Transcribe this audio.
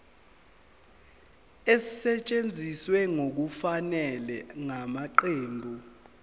esetshenziswe ngokungafanele ngamaqembu